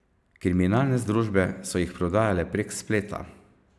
Kriminalne združbe so jih prodajale prek spleta.